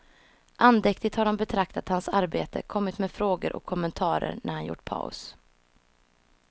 Andäktigt har de betraktat hans arbete, kommit med frågor och kommentarer när han gjort paus.